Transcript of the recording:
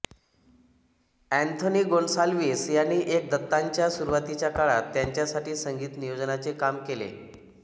Anthony Gonsalves यांनी N दत्तांच्या सुरूवातीच्या काळात त्यांच्यासाठी संगीत नियोजनाचे काम केले